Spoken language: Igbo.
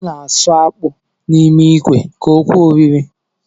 A na-asụ akpụ n’ime ikwe ka o kwe oriri